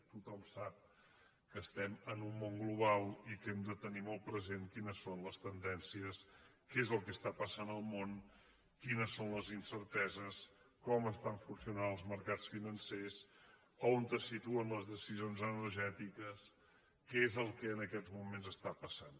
tothom sap que estem en un món global i que hem de tenir molt present quines són les tendències què és el que passa al món quines són les incerteses com funcionen els mercats financers on se situen les deci·sions energètiques què és el que en aquests moments passa